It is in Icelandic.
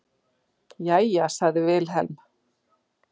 Jæja, sagði Vilhelm.